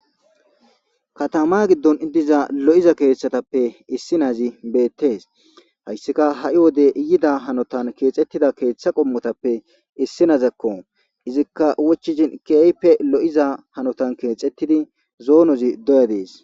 Katama gidon diza lo'iza kathatappe issinazi betesi , haysika ha'i wode yida hanotan kexetida keetha qomotappe Issinazako. Izika wochishn keehippe lo'za hanotan kexetidi zoonazi doya Desi.